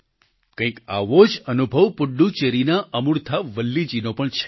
કંઈક આવો જ અનુભવ પુડ્ડુચેરીના અમૂર્થા વલ્લીજી નો પણ છે